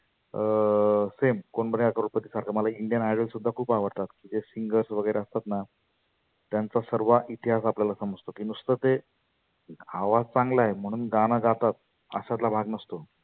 अं fem Kaun Banega Crorepati सारख मला Indian idol सुद्धा खुप आवडतात. ते singers वगैरे असतातना. त्यांचा सर्वा इतिहास आपल्याला समजतो. मी नुस्त ते आवाज